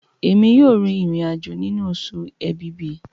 Èmi yóò rìn irin-ajo nínú Oṣù Ẹ̀bìbì.